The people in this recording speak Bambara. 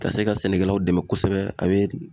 Ka se ka sɛnɛkɛlaw dɛmɛ kosɛbɛ a bɛ